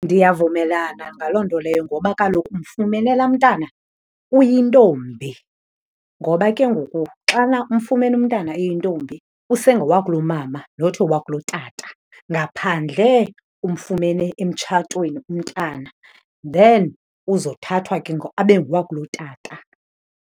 Ndiyavumelana ngaloo nto leyo ngoba kaloku umfumene laa mntana uyintombi ngoba ke ngoku xana umfumene umntana uyintombi usengowakulomama not owakulotata. Ngaphandle umfumene emtshatweni umntana, then uzothathwa ke ngoku abe ngowakulotata.